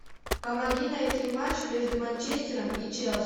помоги найти матч между манчестером и челси